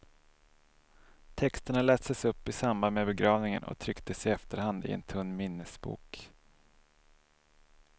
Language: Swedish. Texterna lästes upp i samband med begravningen och trycktes i efterhand, i en tunn minnesbok.